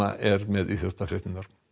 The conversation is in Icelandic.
er með íþróttafréttir